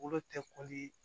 Bolo tɛ